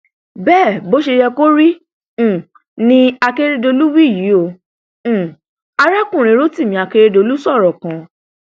bẹẹ bó ṣe yẹ kó rí um ni akeredolu wí yìí ó um arákùnrin rotimi akeredolu sọrọ kan